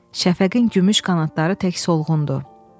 Şəfəqin gümüş qanadları tək solğundur.